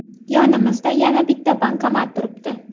Yonimizda yana bitta bankomat turibdi.